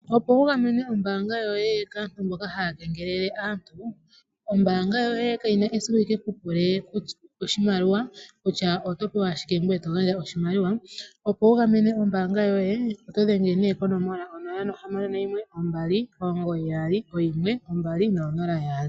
Opo wugamene ombaanga yoye kaantu mboka haya kengelele aantu. Ombaanga yoye kayina esiku yikeku pule oshimaliwa kutya oto pewa shike eto gandja oshimaliwa . Opo wugamene ombaanga yoye dhengela konomola 0612991200.